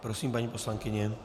Prosím, paní poslankyně.